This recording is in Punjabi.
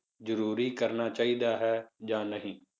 ਜ਼ਰੂਰੀ ਕਰਨਾ ਚਾਹੀਦਾ ਹੈ ਜਾਂ ਨਹੀਂ।